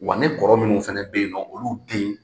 Wa ne kɔrɔ minnu fana be yen nɔn olu den